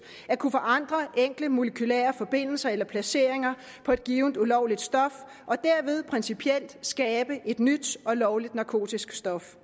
at kunne forandre enkle molekylære forbindelser eller placeringer på et givent ulovligt stof og dermed principielt skabe et nyt og lovligt narkotisk stof